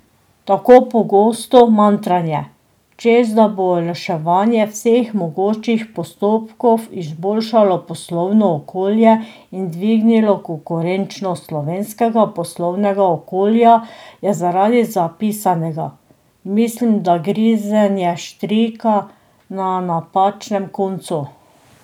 Tako pogosto mantranje, češ da bo olajšanje vseh mogočih postopkov izboljšalo poslovno okolje in dvignilo konkurenčnost slovenskega poslovnega okolja je zaradi zapisanega, mislim, da grizenje štrika na napačnem koncu.